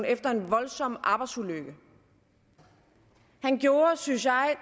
efter en voldsom arbejdsulykke han gjorde synes jeg